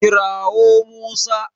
Kira wo Musa